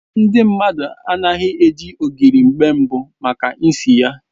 Ndị mmadụ anaghị eji ogiri mgbe mbụ maka isi ya